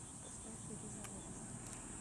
поставь ирина ортман